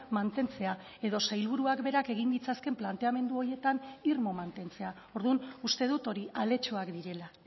mantentzea edo sailburuak berak egin ditzakeen planteamendu horietan irmo mantentzea orduan uste dut hori aletxoak direla